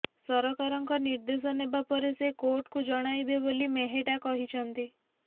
ସରକାରଙ୍କ ନିର୍ଦ୍ଦେଶ ନେବା ପରେ ସେ କୋର୍ଟଙ୍କୁ ଜଣାଇବେ ବୋଲି ମେହେଟା କହିଛନ୍ତି